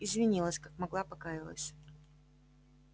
извинилась как могла покаялась